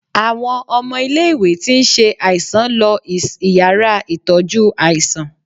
Àwon ọmọ ilé ìwé tí ń ṣe aiṣàn lọ is ìyára itojú aiṣàn